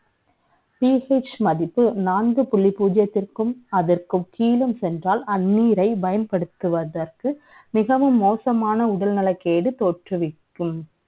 PH மதிப்பு நன்கு புள்ளி பூஜியத்திற்க்கும் அதற்கு கீழே சென்றால் அண்ணீரை பயன்படுத்துவதற்கு மிகவும் மோசமான உடல்நல கேடு தோற்றுவிக்கும்